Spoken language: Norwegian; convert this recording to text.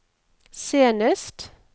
senest